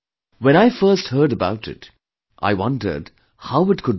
When I first heard about it, I wondered how it could be possible